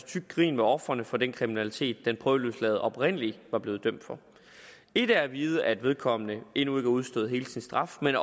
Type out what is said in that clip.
tykt grin med ofrene for den kriminalitet den prøveløsladte oprindelig var blevet dømt for et er at vide at vedkommende endnu ikke har udstået hele sin straf men